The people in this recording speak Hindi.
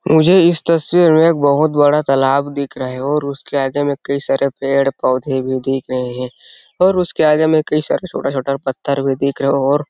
मुझे इस तस्वीर में एक बहुत बड़ा तालाब दिख रहा है और उसके आगे में कई सारे पेड़ -पौधे भी दिख रहे है और उसके आगे में कई सारे छोटा छोटा पत्थर भी दिख रहे है और --